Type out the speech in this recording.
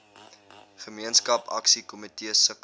gemeenskap aksiekomitees sukkel